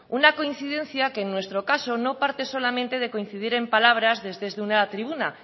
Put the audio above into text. una coincidencia que en nuestro caso no parte solamente de coincidir en palabras desde una tribuna